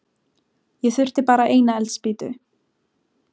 Ég þurfti bara eina eldspýtu.